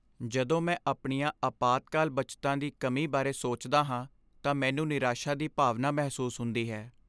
ਜਦੋਂ ਮੈਂ ਆਪਣੀਆਂ ਅਪਾਤਕਾਲ ਬੱਚਤਾਂ ਦੀ ਕਮੀ ਬਾਰੇ ਸੋਚਦਾ ਹਾਂ ਤਾਂ ਮੈਨੂੰ ਨਿਰਾਸ਼ਾ ਦੀ ਭਾਵਨਾ ਮਹਿਸੂਸ ਹੁੰਦੀ ਹੈ।